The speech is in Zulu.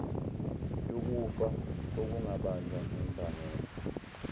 yokufa okungabanjwa ngembangela